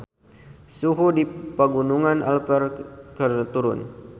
Suhu di Pegunungan Alpen keur turun